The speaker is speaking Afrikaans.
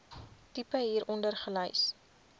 tipe hieronder gelys